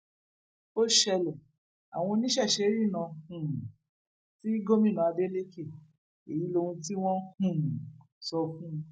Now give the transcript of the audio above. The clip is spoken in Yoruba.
ó ṣẹlẹ àwọn oníṣẹṣe rìnnà um sí gómìnà adelèkẹ èyí lóhun tí wọn um sọ fún un